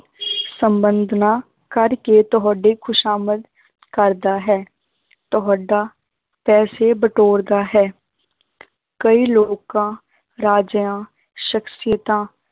ਸੰਬੰਧ ਨਾ ਕਰਕੇ ਤੁਹਾਡੇ ਖ਼ੁਸ਼ਾਮਦ ਕਰਦਾ ਹੈ ਤੁਹਾਡਾ ਪੈਸੇ ਬਟੋਰਦਾ ਹੈ ਕਈ ਲੋਕਾਂ ਰਾਜਿਆਂ ਸਖ਼ਸੀਅਤਾਂ